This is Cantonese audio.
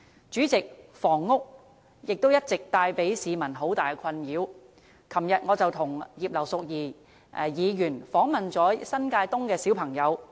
主席，房屋問題也一直為市民帶來很大的困擾，我昨天與葉劉淑儀議員探訪新界東的兒童。